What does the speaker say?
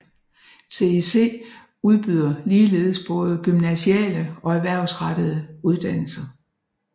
TEC udbyder ligeledes både gymnasiale og erhvervsrettede uddannelser